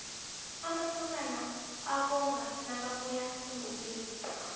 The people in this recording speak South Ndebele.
amasokana abonga nakabuya engomeni